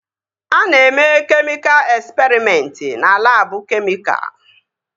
A na-eme kemịka esperịmentị na labụ kemịka